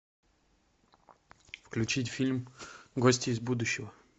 включить фильм гости из будущего